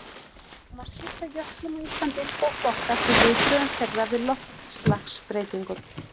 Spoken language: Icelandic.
Þá má skipta jöklum á Íslandi í tvo flokka eftir viðbrögðum þeirra við loftslagsbreytingum.